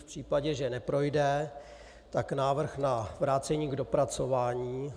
V případě, že neprojde, tak návrh na vrácení k dopracování.